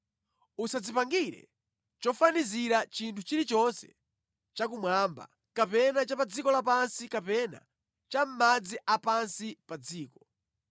“Usadzipangire chofanizira chinthu chilichonse chakumwamba kapena cha pa dziko lapansi kapena cha mʼmadzi a pansi pa dziko.